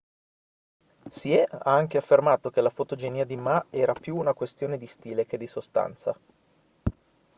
hsieh ha anche affermato che la fotogenia di ma era più una questione di stile che di sostanza